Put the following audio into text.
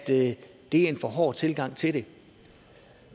det er en for hård tilgang til det